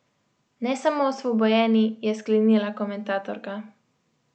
Ne samo osvobojeni, je sklenila komentatorka.